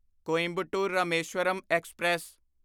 Coimbatore Rameswaram express